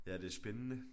Ja det er spændende